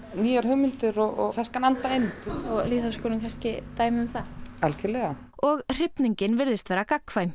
nýjar hugmyndir og ferskan anda inn og lýðháskólinn kannski dæmi um það algjörlega og hrifningin virðist vera gagnkvæm